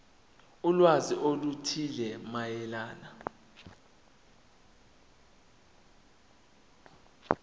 ulwazi oluthile mayelana